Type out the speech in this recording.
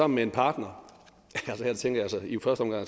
med en partner her tænker